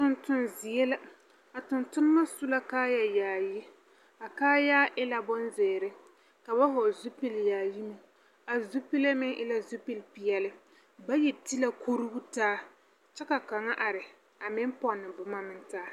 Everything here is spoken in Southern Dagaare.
Tontoŋ zie la, a tontonema su la kaayayaayi, a kaayaa e la bonzeere, ka ba hɔgle zupil-yaayi meŋ, a zupile meŋ e la zupilpeɛle, bayi ti la kuruu taa, kyɛ ka kaŋa are, a meŋ pɔnne boma meŋ taa.